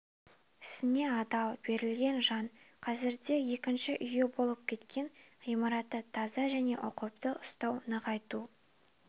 ісіне адал берілген жан қазірде екінші үйі болып кеткен ғимаратты таза және ұқыпты ұстау нығайту